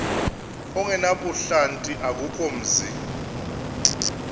ongenabuhlanti akukho mzi